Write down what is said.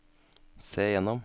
se gjennom